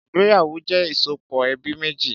Ìgbéyàwó jẹ ìsopọ̀ ẹbí méjì